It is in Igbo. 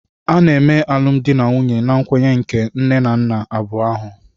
A na-eme alụmdi na nwunye na nkwenye nke nne na nna abụọ ahụ.